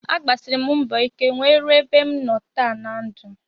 Agbasiri m mbọ ike nwee ruo ebe m nọ taa na ndụ